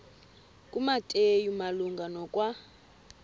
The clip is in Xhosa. kumateyu malunga nokwa